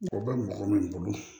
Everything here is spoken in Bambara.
Mɔgɔ bɛ mɔgɔ min bolo